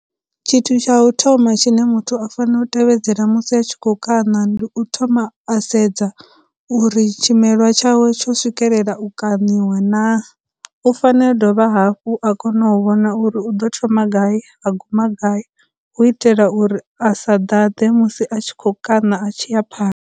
Tshithu tsha u thoma tshine muthu a fanela u tevhedzela musi a tshi kho kaṋa, ndi u thoma a sedza uri tshimelwa tshawe tsho swikelela u kaṋiwa na, u fanela u dovha hafhu a kone u vhona uri u ḓo thoma gai, a guma gai, hu u itela uri a sa ḓaḓe musi a tshi khou kaṋa a tshi ya pha .